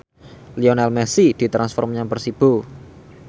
Lionel Messi ditransfer menyang Persibo